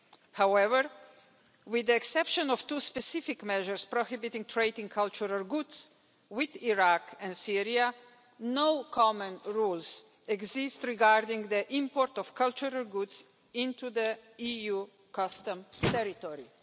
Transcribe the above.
However, with the exception of two specific measures prohibiting trade in cultural goods with Iraq and Syria, no common rules exist regarding the import of cultural goods into the EU customs territory.